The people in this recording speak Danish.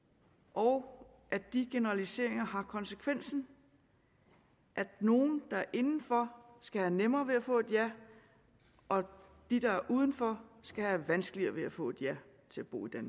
og at de generaliseringer har konsekvensen at nogle der er inden for skal have nemmere ved at få et ja og at de der er uden for skal have vanskeligere ved at få et ja til at bo i